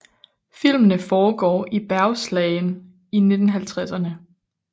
Filmene foregår i Bergslagen i 1950erne